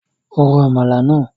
Ro Àmàlà náà!